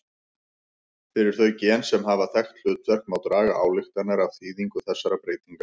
Fyrir þau gen sem hafa þekkt hlutverk má draga ályktanir af þýðingu þessara breytinga.